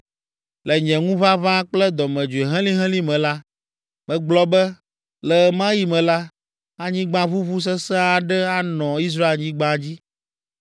Le nye ŋuʋaʋã kple dɔmedzoe helĩhelĩ me la, megblɔ be, le ɣe ma ɣi me la, anyigbaʋuʋu sesẽ aɖe anɔ Israelnyigba dzi.